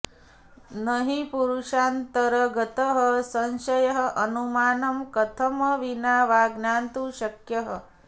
नहि पुरुषान्तरगतः संशयः अनुमानं कथनं विना वा ज्ञातुं शक्यः